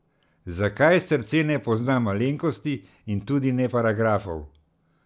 Zakaj srce ne pozna malenkosti in tudi ne paragrafov ...